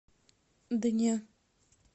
да не